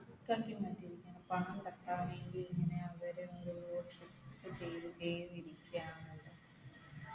ങ്ങനെ പണം തട്ടാൻ വേണ്ടി ഇങ്ങനെ അവർ ഓരോ trick ചെയ്തു ചെയ്തു ഇരിക്കയാണല്ലൊ